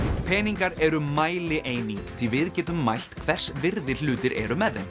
peningar eru mælieining því við getum mælt hvers virði hlutir eru með þeim